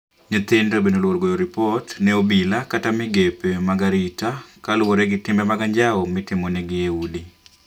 Watoto pia wanaogopa kupiga ripoti kwa polisi au mashirika ya kijamii kuhusu matendo maovu wanayofanyiwa kwa nyumba.